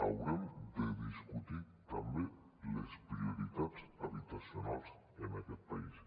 haurem de discutir també les prioritats habitacionals en aquest país